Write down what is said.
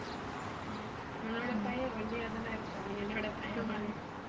ஹம் உன்னோட பையன் ஒல்லியா தானே இருப்பான் என்னோட பையன் மாதிரி